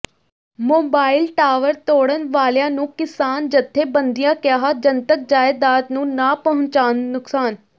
mobile tower ਤੋੜਨ ਵਾਲਿਆਂ ਨੂੰ ਕਿਸਾਨ ਜਥੇਬੰਦੀਆਂ ਕਿਹਾ ਜਨਤਕ ਜਾਇਦਾਦ ਨੂੰ ਨਾ ਪਹੁੰਚਾਉਣ ਨੁਕਸਾਨ